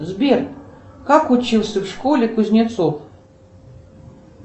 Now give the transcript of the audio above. сбер как учился в школе кузнецов